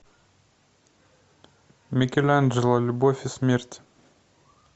микеланджело любовь и смерть